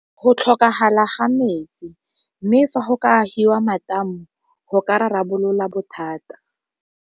Go tlhokagala ga metsi, mme fa go ka agiwa matamo go ka rarabolola bothata.